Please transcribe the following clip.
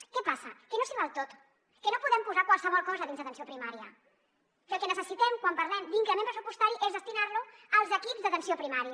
què passa que no s’hi val tot que no podem posar qualsevol cosa dins d’atenció primària que el que necessitem quan parlem d’increment pressupostari és destinar lo als equips d’atenció primària